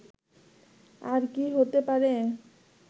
আর কী হতে পারে